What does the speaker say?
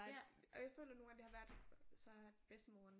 Og jeg føler nogle gange det har været så at bedstemoren